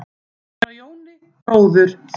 Frá Jóni bróður þínum.